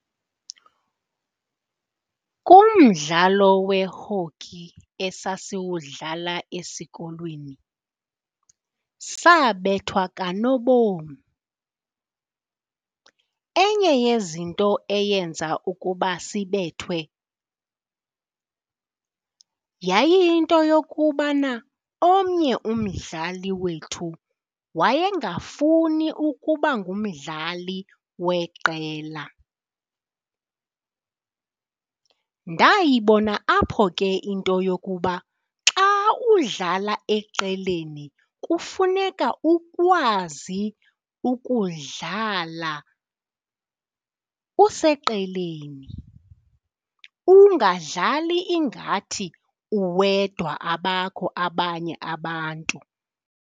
Kumdlalo we-hokey esasiwudlala esikolweni sabethwa kanobom. Enye yezinto eyenza ukuba sibethwe yayiyinto yokubana omnye umdlali wethu wayengafuni ukuba ngumdlali weqela. Ndayibona apho ke into yokuba xa udlala eqeleni kufuneka ukwazi ukudlala useqeleni, ungadlali ingathi uwedwa abakho abanye abantu.